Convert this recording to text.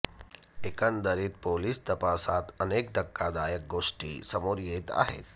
एकंदरीत पोलिस तपासात अनेक धक्कादायक गोष्टी समोर येत आहेत